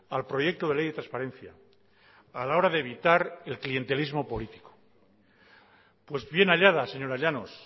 al proyecto de ley de transparencia a la hora de evitar el clientelismo político pues bien hallada señora llanos